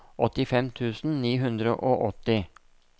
åttifem tusen ni hundre og åtti